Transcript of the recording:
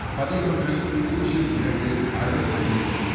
பதினொன்று, பூஜ்யம் இரண்டு, அறுபத்து மூன்று